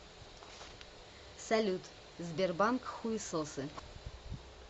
салют сбербанк хуесосы